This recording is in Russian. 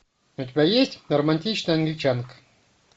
у тебя есть романтичная англичанка